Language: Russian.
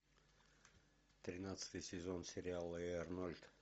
тринадцатый сезон сериала эй арнольд